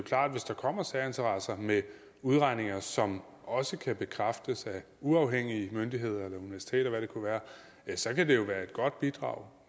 hvis der kommer særinteresser med udregninger som også kan bekræftes af uafhængige myndigheder eller universiteter eller hvad det kunne være ja så kan det jo være et godt bidrag